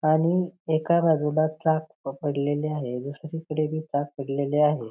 आणि एका बाजूला ताक प पडलेले आहे दुसरीकडे बी ताक पडलेले आहे.